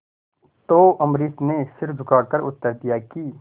तो अम्बरीश ने सिर झुकाकर उत्तर दिया कि